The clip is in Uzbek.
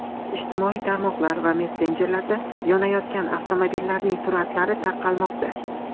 Ijtimoiy tarmoqlar va messenjerlarda yonayotgan avtomobillarning suratlari tarqalmoqda .